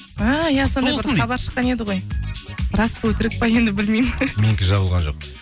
хабар шыққан еді ғой рас па өтірік пе енді білмеймін менікі жабылған жоқ